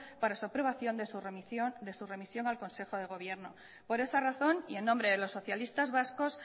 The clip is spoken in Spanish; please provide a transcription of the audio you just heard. para su aprobación de su remisión al consejo de gobierno por esa razón y en nombre de los socialistas vascos